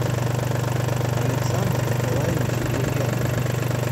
александр николаевич друзьянов